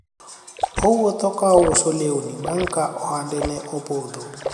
owuotho ka ouso lewni bang' ka ohande ne opodho